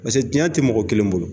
Paseke tiɲɛ tɛ mɔgɔ kelen bolo.